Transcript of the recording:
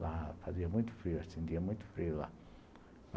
Lá fazia muito frio, acendia muito frio lá.